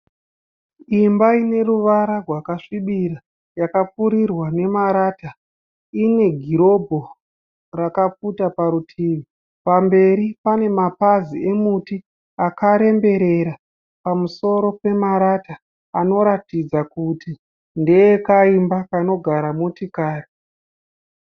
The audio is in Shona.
Imba ine ruvara rwakasvibira yakapfurirwa nemarata. Ine gurobhu rakapfuta parutivi. Pamberi pane mapazi emuti akaremberera pamusoro pemarata anoratidza kuti ndeekaimba kanogara motikari.